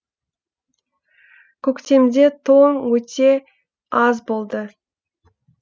көктемде тоң өте аз болды